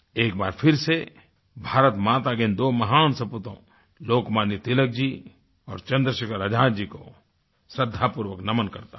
एक बार फिर से भारत माता के दो महान सपूतों लोकमान्य तिलक जी और चंद्रशेखर आज़ाद जी को श्रद्धापूर्वक नमन करता हूँ